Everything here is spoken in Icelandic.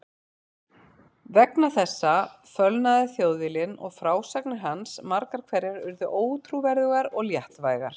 Vegna þessa fölnaði Þjóðviljinn og frásagnir hans margar hverjar urðu ótrúverðugar og léttvægar.